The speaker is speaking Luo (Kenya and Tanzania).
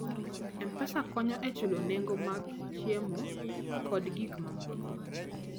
M-Pesa konyo e chulo nengo mar chiemo kod gik mimadho.